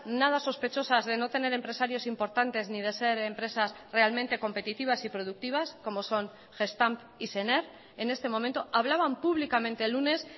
nada sospechosas de no tener empresarios importantes ni de ser empresas realmente competitivas y productivas como son gestamp y sener en este momento hablaban públicamente el lunes